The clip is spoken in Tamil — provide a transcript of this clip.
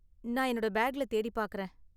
நான் என்னோட பேக்ல தேடி பாக்கறேன்.